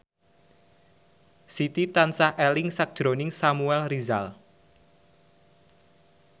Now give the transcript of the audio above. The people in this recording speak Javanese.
Siti tansah eling sakjroning Samuel Rizal